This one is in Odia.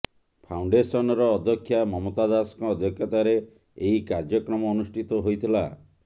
ଫାଉଣ୍ଡେସନ୍ର ଅଧ୍ୟକ୍ଷା ମମତା ଦାଶଙ୍କ ଅଧ୍ୟକ୍ଷତାରେ ଏହି କାର୍ଯ୍ୟକ୍ରମ ଅନୁଷ୍ଠିତ ହୋଇଥିଲା